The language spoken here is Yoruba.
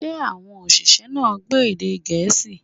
Ṣé àwọn òṣìṣẹ́ náà gbọ́ èdè Gẹ̀ẹ́sì?